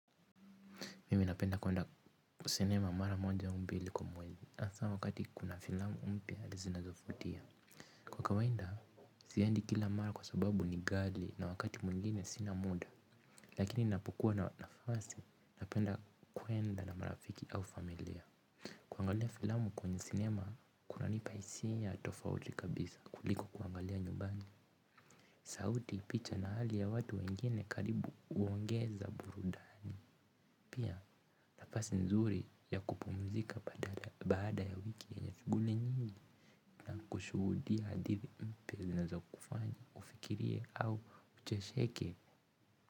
Mimi napenda kuenda sinema mara moja mbili kumwezi Nasa wakati kuna filamu mpya zinazofutia. Kwa kawainda, siendi kila mara kwa sababu ni gali na wakati mwingine sina muda. Lakini napokuwa na nafasi, napenda kuenda na marafiki au familia. Kuangalia filamu kwenye sinema, kuna nipa hisia tofauti kabisa kuliko kuangalia nyumbani sauti picha na hali ya watu wengine karibu huongeza burudani. Pia nafasi nzuri ya kupumzika baada ya wiki yenye shuguli nyingi. Kushuhudia hadithi mpya zinazo kufanya ufikirie au uchesheke.